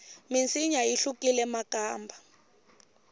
minsinya yi hlukile makamba